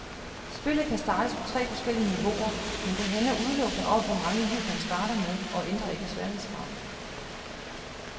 Spillet kan startes på tre forskellige niveauer, men det handler udelukkende om, hvor mange liv man starter med, og ændrer ikke sværhedsgraden.